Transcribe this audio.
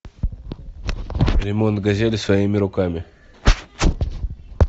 ремонт газели своими руками